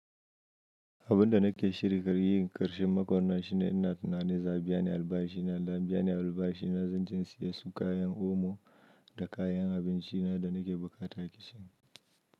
Abun da nake shirin da yi, ƙarshen makon nan shine ina tunanin za a biya ni albashi na. Nan da an biya ni albashi na, zan je in siya su kayan omo da kayan abinci na da nake buƙata a kicin.